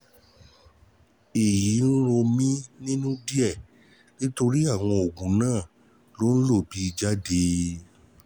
Èyí ń rò mí nínú díẹ̀ nítorí àwọn oògùn náà ló ló ń bì jáde